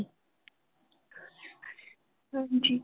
ਹਾਂਜੀ